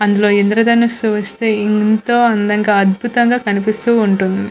అందులో ఇంద్రధనస్సు వస్తే ఎంతో అందంగా అద్భుతంగా కనిపిస్తూ ఉంటుంది.